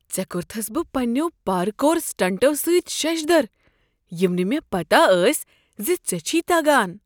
ژےٚ کوٚرتھس بہ پننیو پارکور سٹنٹو سۭتۍ ششدر یم نہٕ مےٚ پتہ ٲسۍ ز ژےٚ چھے تگان۔